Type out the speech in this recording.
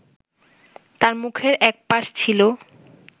তার মুখের একপাশ ছিলো